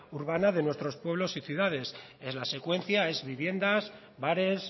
urbana de nuestros pueblos y ciudades es la secuencia es viviendas bares